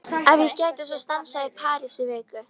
Ef ég gæti svo stansað í París í viku?